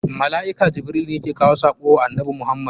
Mala'ika Jibrilu ne ke kawo sako wa annabi Muhammad.